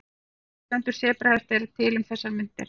Þrjár tegundir sebrahesta eru til um þessar mundir.